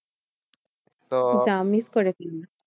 যাওয়া miss করে ফেললি।